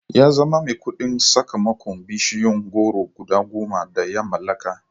Ya zama mai kuɗi sakamakon bishiyun goro guda goma da ya mallaka